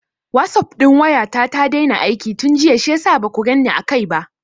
Wasup ɗin waya ta ta daina aiki tun jiya shiyasa ma baku ganni a kai ba.